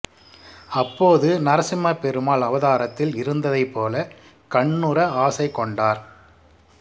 அப்போது நரசிம்ம பெருமாள் அவதாரத்தில் இருந்ததைப் போல கண்ணுற ஆசை கொண்டார்